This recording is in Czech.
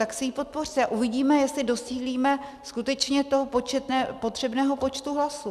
Tak si ji podpořte a uvidíme, jestli docílíme skutečně toho potřebného počtu hlasů.